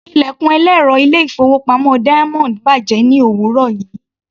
Ilẹ̀kùn ẹlẹ́rọ ilé-ìfowópamọ́ Diamond bàjẹ́ ní òwúrọ̀ yìí.